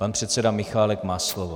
Pan předseda Michálek má slovo.